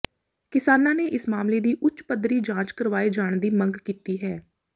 ਕਿਸਾਨਾਂ ਨੇ ਇਸ ਮਾਮਲੇ ਦੀ ਉੱਚ ਪੱਧਰੀ ਜਾਂਚ ਕਰਵਾਏ ਜਾਣ ਦੀ ਮੰਗ ਕੀਤੀ ਹੈ